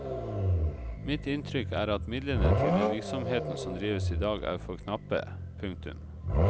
Mitt inntrykk er at midlene til den virksomheten som drives i dag er for knappe. punktum